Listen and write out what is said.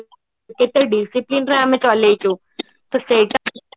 କେତେ discipline ରେ ଆମେ ଚଳେଇଛୁ ତ ସେଇଟା